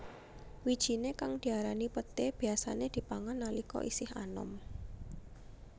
Wijiné kang diarani peté biyasané dipangan nalika isih anom